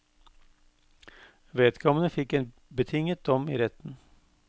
Vedkommende fikk en betinget dom i retten.